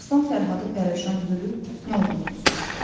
Aslan Fərhadı pərişan görüb nə olduğunu soruşdu.